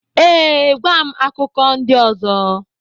ee, gwa m akụkọ ndị ọzọ.